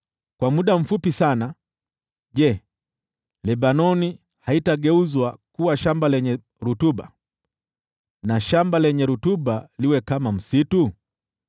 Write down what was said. Kwa muda mfupi sana, je, Lebanoni haitageuzwa kuwa shamba lenye rutuba, na shamba lenye rutuba liwe kama msitu?